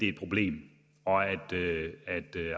et problem og at